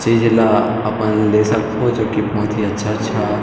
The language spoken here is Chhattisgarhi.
चीज ल अपन ले सकथव जो की बहुत ही अच्छा-अच्छा--